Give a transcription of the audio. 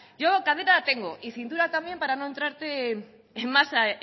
yo cadera tengo y cintura también para no entrarte en